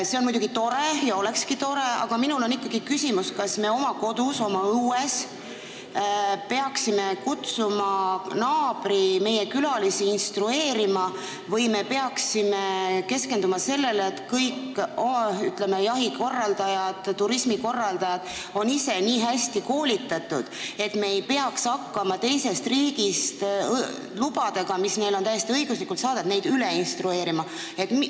See on muidugi tore ja olekski tore, aga mul on ikkagi küsimus, kas me oma kodus, oma õues peaksime kutsuma naabri meie külalisi instrueerima või peaksime keskenduma sellele, et kõik, ütleme, jahikorraldajad ja turismikorraldajad oleksid ise nii hästi koolitatud, et me ei peaks hakkama üle instrueerima inimest, kellel on teisest riigist saadud luba, mille ta on täiesti õiguslikult saanud.